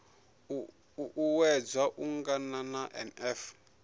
u uuwedza u angana na nf